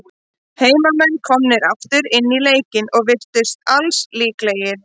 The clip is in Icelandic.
Heimamenn komnir aftur inn í leikinn, og virtust til alls líklegir.